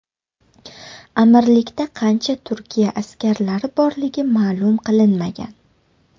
Amirlikda qancha Turkiya askarlari borligi ma’lum qilinmagan.